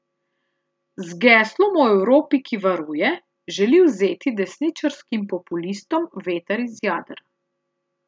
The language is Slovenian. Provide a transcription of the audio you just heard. Z geslom o Evropi, ki varuje, želi vzeti desničarskim populistom veter iz jader.